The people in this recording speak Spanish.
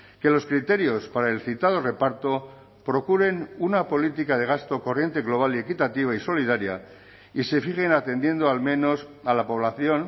que los criterios para el citado reparto procuren una política de gasto corriente global y equitativa y solidaria y se fijen atendiendo al menos a la población